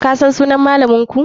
Kasan sunan malaminku?